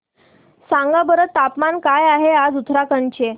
सांगा बरं तापमान काय आहे आज उत्तराखंड चे